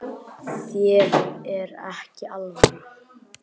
Þér er ekki alvara